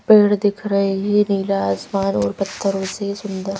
पेड़ दिख रहे हैं नीला आसमान और पत्थरों से सुंदर।